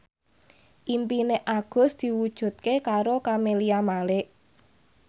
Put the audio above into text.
impine Agus diwujudke karo Camelia Malik